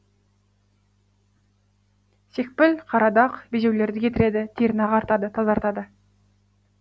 секпіл қара дақ безеулерді кетіреді теріні ағартады тазартады